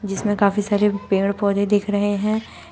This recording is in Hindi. जिसमें काफी सारे पेड़ पौधे दिख रहे हैं।